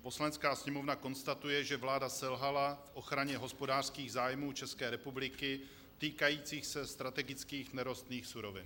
"Poslanecká sněmovna konstatuje, že vláda selhala v ochraně hospodářských zájmů České republiky týkajících se strategických nerostných surovin."